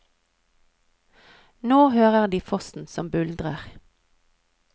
Nå hører de fossen som buldrer.